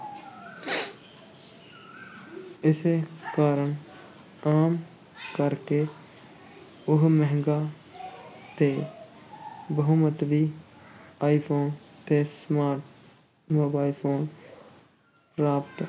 ਇਸੇ ਕਾਰਨ ਆਮ ਕਰਕੇ ਉਹ ਮਹਿੰਗਾ ਤੇ ਬਹੁ-ਮੰਤਵੀ ਆਈ-ਫ਼ੋਨ ਤੇ smart mobile phone ਪ੍ਰਾਪਤ